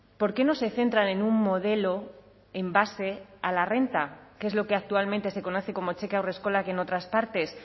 por qué no se centran en un modelo en base a la renta que es lo que actualmente se conoce como cheque haurreskolak en otras partes